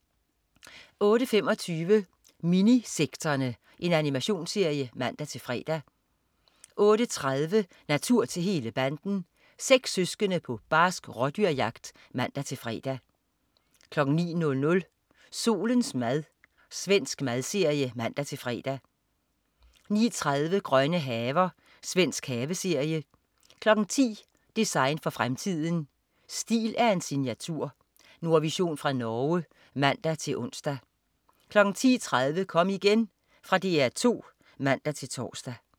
08.25 Minisekterne. Animationsserie (man-fre) 08.30 Natur til hele banden. Seks søskende på barsk rådyrjagt (man-fre) 09.00 Solens mad. Svensk madserie (man-fre) 09.30 Grønne haver. Svensk haveserie 10.00 Design for fremtiden. Stil er en signatur. Nordvision fra Norge (man-ons) 10.30 Kom igen. Fra DR 2 (man-tors)